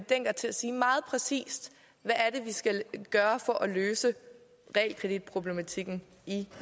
dencker til at sige meget præcist hvad er det vi skal gøre for at løse realkreditproblematikken i